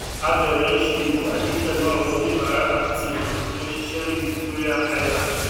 a bẹrẹ ń ṣe íwádìí pẹlú àwọn oníbáàrá àti ènìyàn tó ń ṣiṣẹ ní victoria island